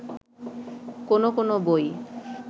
কোনো কোনো বই